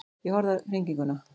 Ég horfði á hringinguna.